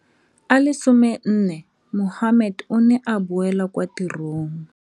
A le 14, Mohammed o ne a boela kwa tirong.